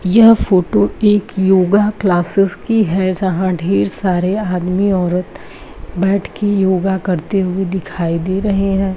यह फोटो एक yoga classes की हैं जहाँ ढेर सारे आदमी औरत बैठ के योग करते दिखाई दे रहे है।